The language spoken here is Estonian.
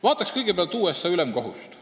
Vaatame kõigepealt USA ülemkohut.